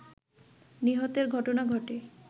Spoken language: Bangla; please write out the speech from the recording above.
নিহতের ঘটনা ঘটে